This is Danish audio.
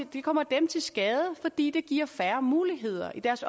det kommer dem til skade fordi det giver færre muligheder i deres